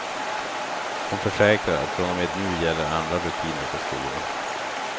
Hon försäkrar att från och med nu gäller andra rutiner på skolan.